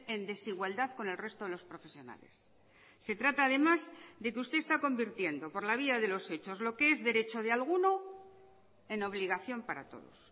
en desigualdad con el resto de los profesionales se trata además de que usted está convirtiendo por la vía de los hechos lo que es derecho de alguno en obligación para todos